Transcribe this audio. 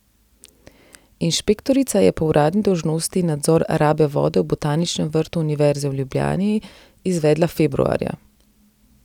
Inšpektorica je po uradni dolžnosti nadzor rabe vode v Botaničnem vrtu Univerze v Ljubljani izvedla februarja.